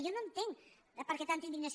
jo no entenc per què tanta indignació